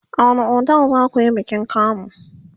a wani otel zakuyi bikin kamu?